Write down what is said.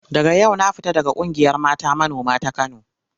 Daga yau na fita daga ƙungiyar mata manoma ta Kano.